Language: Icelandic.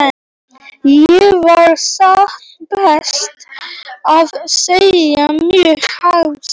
Ég var satt best að segja mjög hissa.